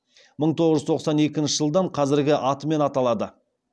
мың тоғыз жүз тоқсан екінші жылдан қазіргі атымен аталады